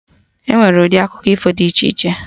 Enwere ụdị akụkọ ifo dị iche iche